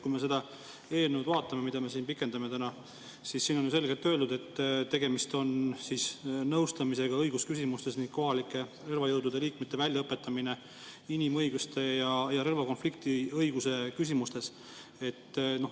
Kui me seda eelnõu vaatame, mida me pikendame täna, siis siin on ju selgelt öeldud, et tegemist on nõustamisega õigusküsimustes ning kohalike relvajõudude liikmete väljaõpetamisega inimõiguste ja relvakonflikti õiguse küsimustes.